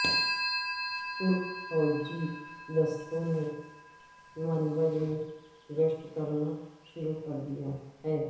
ترک فوجی دستوں نے منبج میں گشت کرنا شروع کر دیا ہے